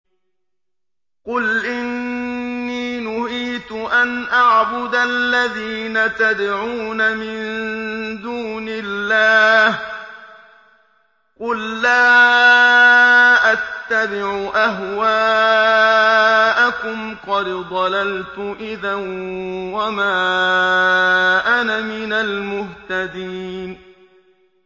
قُلْ إِنِّي نُهِيتُ أَنْ أَعْبُدَ الَّذِينَ تَدْعُونَ مِن دُونِ اللَّهِ ۚ قُل لَّا أَتَّبِعُ أَهْوَاءَكُمْ ۙ قَدْ ضَلَلْتُ إِذًا وَمَا أَنَا مِنَ الْمُهْتَدِينَ